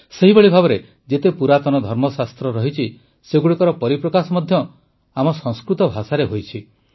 ସେହିଭଳି ଭାବରେ ଯେତେ ପୁରାତନ ଧର୍ମଶାସ୍ତ୍ର ରହିଛି ସେଗୁଡ଼ିକର ପରିପ୍ରକାଶ ମଧ୍ୟ ଆମ ସଂସ୍କୃତ ଭାଷାରେ ହୋଇଛି